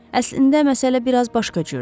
Əslində məsələ biraz başqa cürdür.